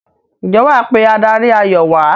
ǹjẹ́ wà á pe adarí-ayò wà á?